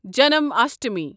Janmashtami